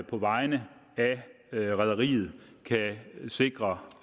på vegne af rederiet kan sikre